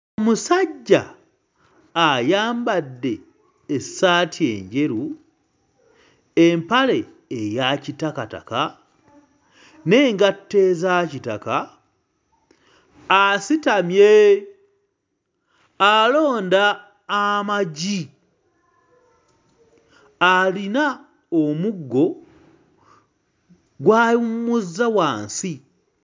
Musajja ayambadde essaati enjeru, empale eya kitakataka, n'engatto eza kitaka asitamye, alonda amagi, alina omuggo gw'awummuzza wansi